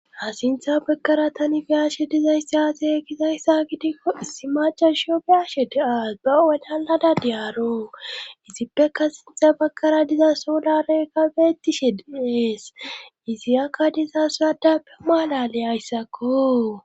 Ha sintha bagkara tani biyaashe dizaysse aase ekizayssa gidikko issi maca shio biyashe deaas bawatalada diyaaro izippeka sintxa bakara diza soolareykka beettishe deees izi akka diza suradappe maalale ayssakko.